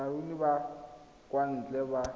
baruni ba kwa ntle ba